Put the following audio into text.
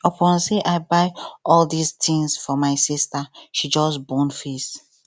upon sey i buy all dis tins for my sista she just bone face